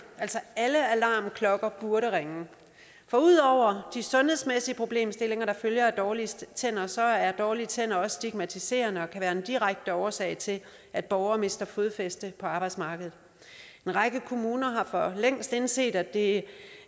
altså alle alarmklokkerne burde ringe for ud over de sundhedsmæssige problemstillinger der følger af dårlige tænder så er dårlige tænder også stigmatiserende og kan være en direkte årsag til at borgere mister fodfæste på arbejdsmarkedet en række kommuner har for længst indset at det